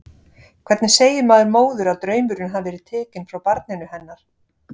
Hvernig segir maður móður að draumurinn hafi verið tekinn frá barninu hennar?